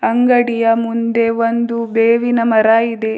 ಅಂಗಡಿಯ ಮುಂದೆ ಒಂದು ಬೇವಿನ ಮರ ಇದೆ.